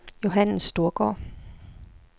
Johannes Storgaard